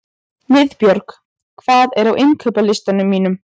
Niðbjörg, hvað er á innkaupalistanum mínum?